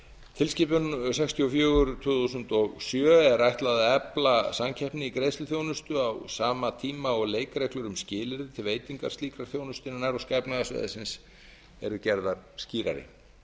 tilskipun sextíu og fjögur tvö þúsund og sjö er ætlað að efla samkeppni í greiðsluþjónustu á sama tíma og leikreglur um skilyrði til veitinga slíkrar þjónustu en eru gerðar skýrari